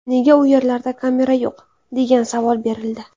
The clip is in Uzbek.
Nega u yerlarda kamera yo‘q, degan savol berildi.